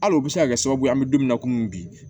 Hali o bɛ se ka kɛ sababu ye an bɛ don min na komi bi